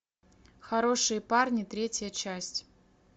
хорошие парни третья часть